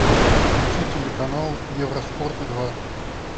включи телеканал евроспорт два